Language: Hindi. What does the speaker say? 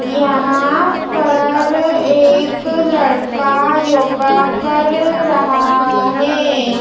यहां पर एक लड़का योगा कर रहा है।